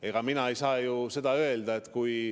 Aga mina ei saa ju seda öelda.